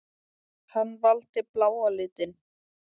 Hann valdi bláa litinn.